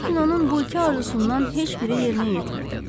Lakin onun bu iki arzusundan heç biri yerinə yetmirdi.